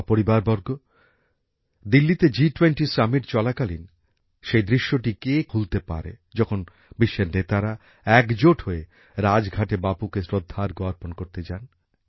আমার পরিবারবর্গ দিল্লিতে জি20 শীর্ষ সম্মেলন চলাকালীন সেই দৃশ্যটি কে ভুলতে পারে যখন বিশ্বের নেতারা একজোট হয়ে রাজঘাটে বাপুকে শ্রদ্ধার্ঘ্য অর্পণ করতে যান